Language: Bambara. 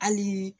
Hali